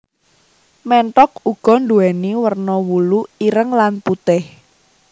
Ménthok uga nduwèni werna wulu ireng lan putih